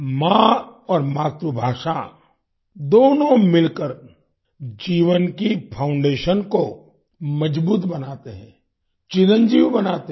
माँ और मातृभाषा दोनों मिलकर जीवन की फाउंडेशन को मजबूत बनाते हैं चिरंजीव बनाते हैं